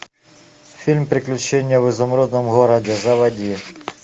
фильм приключения в изумрудном городе заводи